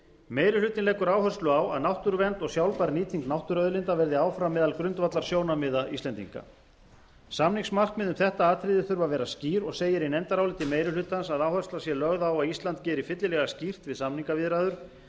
meiri hlutinn leggur áherslu á að náttúruvernd og sjálfbær nýting náttúruauðlinda verði áfram meðal grundvallarsjónarmiða íslendinga samningsmarkmið um þetta atriði þurfa að vera skýr og segir í nefndaráliti meiri hlutans að áhersla sé lögð á að ísland geri fyllilega skýrt við samningaviðræður